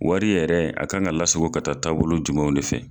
Wari yɛrɛ a kan ka lasago ka taa taabolo jumɛnw de fɛ.